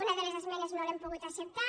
una de les esmenes no l’hem pogut acceptar